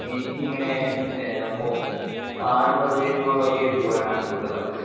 എനിക്കിങ്ങനെ ഏഹ് ഫോ കാട് പ്രദേശങ്ങളിലൊക്കെ പൂവാനാണ് കൂടുതൽ താല്പര്യം.